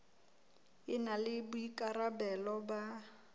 e na le boikarabelo ba